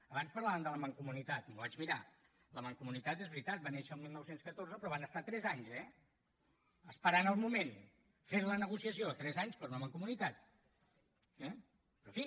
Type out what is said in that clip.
abans parlàvem de la mancomunitat m’ho vaig mirar la mancomunitat és veritat va néixer el dinou deu quatre però van estar tres anys eh esperant el moment fent la negociació tres anys per una mancomunitat eh però en fi